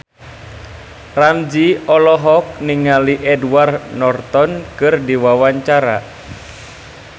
Ramzy olohok ningali Edward Norton keur diwawancara